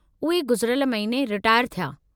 उहे गुज़िरियलु महीने रिटायर थिया।